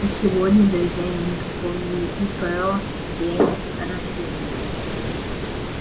а сегодня друзья и не вспомнили и про день рождения